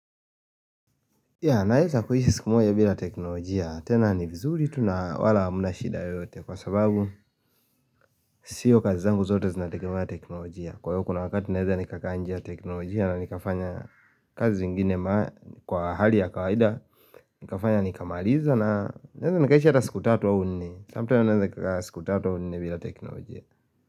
Yaa naeza kuishi siku moja bila teknolojia, tena ni vizuri tuna wala hamna shida yoyote kwa sababu sio kazi zangu zote zinategemea ya teknolojia Kwa hio kuna wakati naeza nikakaa nje ya teknolojia na nikafanya kazi zingine kwa hali ya kawaida nikafanya nikamaliza na naweza nikaishi hataa siku 3 au 4 Samtame naeza siku 3 au 4 vila teknolojia.